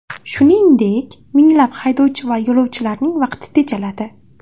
Shuningdek, minglab haydovchi va yo‘lovchilarining vaqti tejaladi.